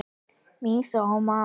Mýs og maður.